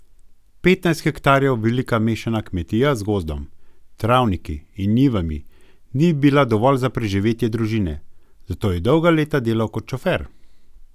Petnajst hektarjev velika mešana kmetija z gozdom, travniki in njivami ni bila dovolj za preživetje družine, zato je dolga leta delal kot šofer.